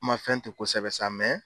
N ma fɛn tɛ kosɛbɛ sa